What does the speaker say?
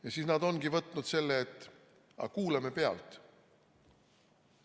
Ja siis nad ongi võtnud selle, et kuulame pealt.